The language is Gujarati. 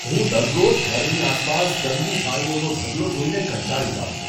હું દરરોજ ઘરની આસપાસ ગંદી થાળીઓનો ઢગલો જોઈને કંટાળી જાઉં છું.